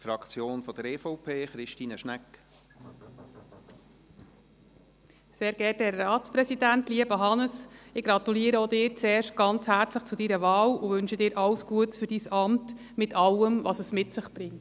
Zuerst gratuliere ich Ihnen, lieber Hannes Zaugg, herzlich zu Ihrer Wahl und wünsche Ihnen alles Gute für Ihr Amt, mit allem, was es mit sich bringt.